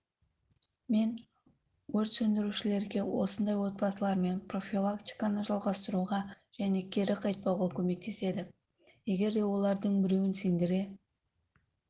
мен өрт сөндірушілерге осындай отбасылармен профилактиканы жалғастыруға және кері қайтпауға көмектеседі егерде олардың біреуін сендіре